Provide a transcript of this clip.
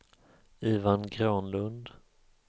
Ivan Granlund